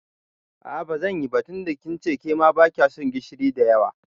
A'a bazanyi ba tunda kince kema bakyason gishiri da yawa.